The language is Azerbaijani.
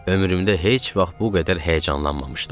Ömrümdə heç vaxt bu qədər həyəcanlanmamışdım.